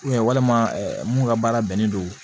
walima mun ka baara bɛnnen don